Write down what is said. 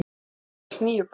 Þau eignuðust alls níu börn.